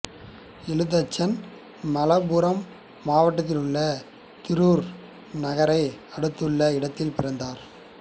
எழுத்தச்சன் மலப்புரம் மாவட்டத்தில் உள்ள திரூர் நகரை அடுத்துள்ள இடத்தில் பிறந்தார்